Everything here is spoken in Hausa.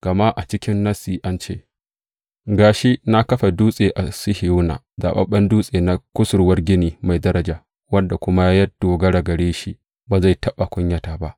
Gama a cikin Nassi an ce, Ga shi, na kafa dutse a Sihiyona, zaɓaɓɓen dutse na kusurwar gini mai daraja, wanda kuma ya dogara gare shi ba zai taɓa kunyata ba.